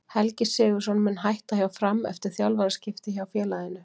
Helgi Sigurðsson mun hætta hjá Fram eftir þjálfaraskipti hjá félaginu.